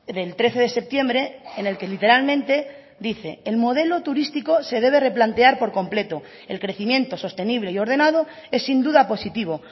del trece de septiembre en el que literalmente dice el modelo turístico se debe replantear por completo el crecimiento sostenible y ordenado es sin duda positivo